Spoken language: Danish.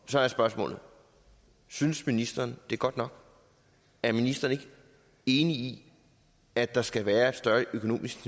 så er spørgsmålet synes ministeren det er godt nok er ministeren ikke enig i at der skal være et større økonomisk